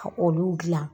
Ka olu dilan